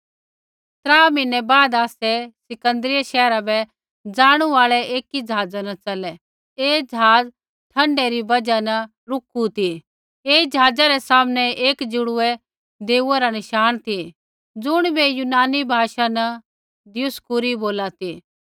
त्रा म्हीनै बाद आसै सिकन्दरियै शैहरा बै ज़ाणू आल़ै एकी ज़हाज़ा न च़लै ऐ ज़हाज़ ठण्डा री बजहा न टापू न रूकिरा ती ऐई ज़हाज़ा रै सामनै एक जुड़वै देऊआ रा नशाण ती ज़ुणिबै यूनानी भाषा न दियुसकूरी बोला ती